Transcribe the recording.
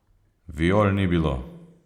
Viol ni bilo.